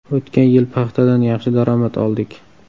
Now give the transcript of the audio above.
O‘tgan yil paxtadan yaxshi daromad oldik.